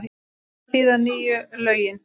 Hvað þýða nýju lögin?